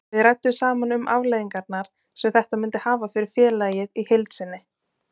Við ræddum saman um afleiðingarnar sem þetta myndi hafa fyrir félagið í heild sinni.